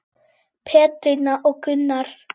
Pétrína og Gunnar.